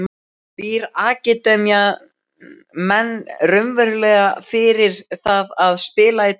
Býr akademían menn raunverulega fyrir það að spila í deildinni?